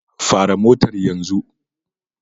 Fara motar yanzu!